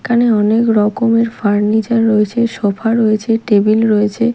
এখানে অনেক রকমের ফার্নিচার রয়েছে সোফা রয়েছে টেবিল রয়েছে।